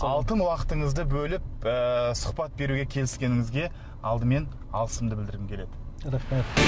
алтын уақытынызды бөліп ыыы сұхбат беруге келіскеніңізге алдымен алғысымды білдіргім келеді рахмет